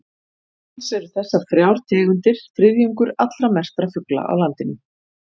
Alls eru þessar þrjár tegundir þriðjungur allra merktra fugla á landinu.